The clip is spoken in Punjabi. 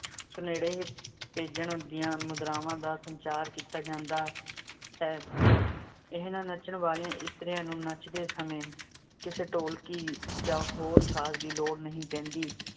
ਸੁਨੇਹੜੇ ਭੇਜਣ ਦੀਆਂ ਮੁਦਰਾਵਾਂ ਦਾ ਸੰਚਾਰ ਕੀਤਾ ਜਾਂਦਾ ਹੈ। ਇਹਨਾਂ ਨੱਚਣ ਵਾਲੀਆਂ ਇਸਤਰੀਆਂ ਨੂੰ ਨੱਚਦੇ ਸਮੇਂ ਕਿਸੇ ਢੋਲਕੀ ਜਾਂ ਹੋਰ ਸਾਜ਼ ਦੀ ਲੋੜ ਨਹੀਂ ਪੈਂਦੀ।